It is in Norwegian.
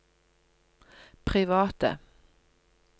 private